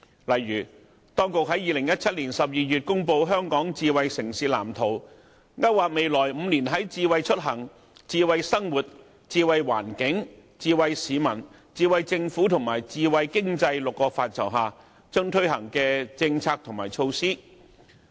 例如，當局在2017年12月公布香港智慧城市藍圖，勾劃未來5年在"智慧出行"、"智慧生活"、"智慧環境"、"智慧市民"、"智慧政府"及"智慧經濟 "6 個範疇推出的政策和措施。